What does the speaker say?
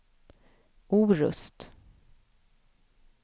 Orust